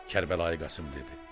Kərbəlayı Qasım dedi: